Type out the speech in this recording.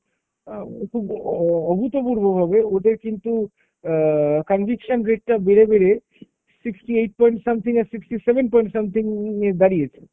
অ্যাঁ খুব অ~ অভূতপূর্বভাবে ওদের কিন্তু অ্যাঁ conviction rate টা বেড়ে বেড়ে sixty eight point something আর sixty seven point something এ দাঁড়িয়েছে।